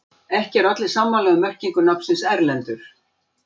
Ekki eru allir sammála um merkingu nafnsins Erlendur.